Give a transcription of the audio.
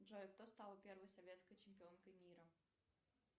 джой кто стал первой советской чемпионкой мира